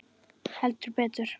Heldur betur!